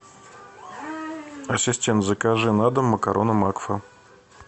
ассистент закажи на дом макароны макфа